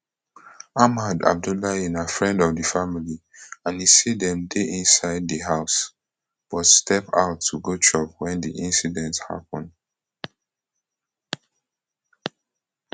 ahmad abdullahi na friend of di family and e say dem dey inside di house but step out to go chop wen di incident happun